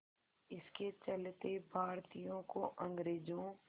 इसके चलते भारतीयों को अंग्रेज़ों